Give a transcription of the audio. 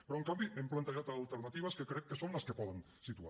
però en canvi hem plantejat alternatives que crec que són les que poden situar